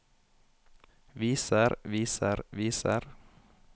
viser viser viser